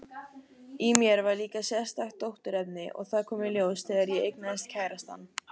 Í mér var líka sérstakt dótturefni, og það kom í ljós þegar ég eignaðist kærastann.